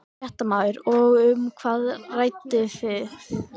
Fréttamaður: Og um hvað rædduð þið?